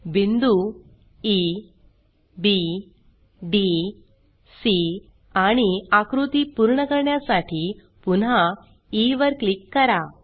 बिंदू E B D C आणि आकृती पूर्ण करण्यासाठी पुन्हा ई वर क्लिक करा